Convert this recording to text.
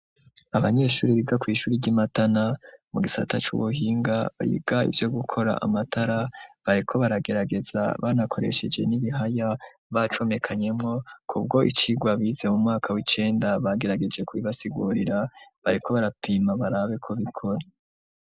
Abanyeshuri biga kw'ishuri ry'imatana mu gisata c'ubuhinga bayiga ivyo gukora amatara bareko baragerageza banakoresheje n'ibihaya bacomekanyemo ku bwo icirwa bize mu mwaka w'icenda bagerageje ku bibasigurira bareko barapima barabeko bikora.